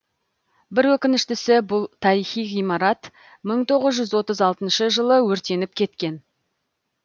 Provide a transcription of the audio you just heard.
бір өкініштісі бұл тарихи ғимарат мың тоғыз жүз отыз алтыншы жылы өртеніп кеткен